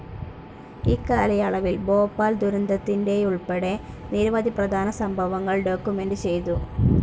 ഇക്കാലയളവിൽ ഭോപ്പാൽ ദുരന്തത്തിൻ്റേതുൾപ്പെടെ നിരവധി പ്രധാന സംഭവങ്ങൾ ഡോക്യുമെന്റ്‌ ചെയ്തു.